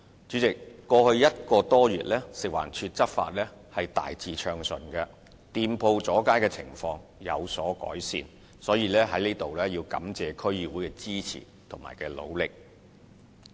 主席，在過去1個多月，食環署的執法大致暢順，店鋪阻街的情況有所改善，所以我在此感謝區議會的支持和努力。